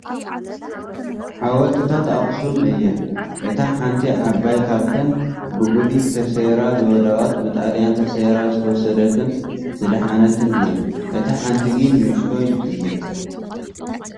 ሓወልቲታት ኣኽሱም እየን እታ ሓንቲ ዓባይ ካብተን ብጉዲት ተሰይራ ዝወደቐትን ብጣልያን ተሰይራ ዝተወሰደትን ዝደሓነት እያ ፡ እታ ሓንቲ ግን ንኡሽተይ እያ ።